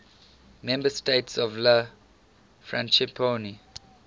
member states of la francophonie